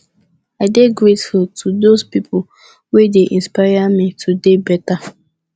i dey grateful to dose pipo wey dey inspire me to dey beta